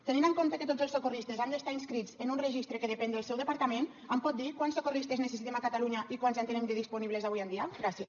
tenint en compte que tots els socorristes han d’estar inscrits en un registre que depèn del seu departament em pot dir quants socorristes necessitem a catalunya i quants en tenim de disponibles avui en dia gràcies